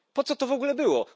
Po co to w ogóle było?